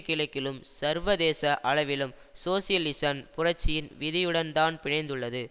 கிழக்கிலும் சர்வதேச அளவிலும் சோசியலிசன் புரட்சியின் விதியுடன்தான் பிணைந்துள்ளது